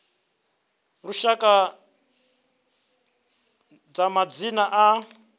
a lushaka tsha madzina a